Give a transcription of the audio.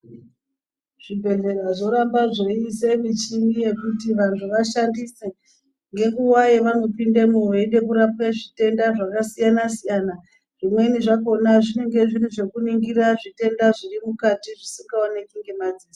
Zvibhedhlera Zviramba zveida michini yekuti vantu vashandise ngenguwa yavanopindamwo veida kurapwa zvitenda zvakasiyana siyana zvimweni zvakona zvinenge zviri zvekuningira zvitenda zviri mukati zvisingaonekwi nemadziso.